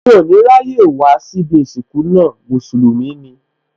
Mí ò ní ráyè wá síbí ìsìnkú náà, Mùsùlùmí ni